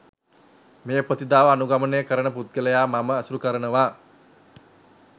මේ ප්‍රතිපදාව අනුගමනය කරන පුද්ගලයා මම ඇසුරු කරනවා.